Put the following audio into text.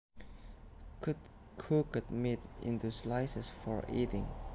cut cooked meat into slices for eating